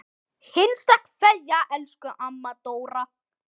HINSTA KVEÐJA Elsku amma Dóra.